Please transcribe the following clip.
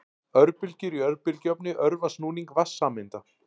Örbylgjur í örbylgjuofni örva snúning vatnssameinda.